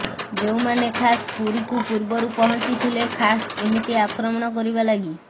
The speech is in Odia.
ଯେଉଁମାନେ ଖାସ୍ ପୁରୀକୁ ପୂର୍ବରୁ ପହଞ୍ଚିଥିଲେ ଖାସ୍ ଏମିତି ଆକ୍ରମଣ କରିବା ଲାଗି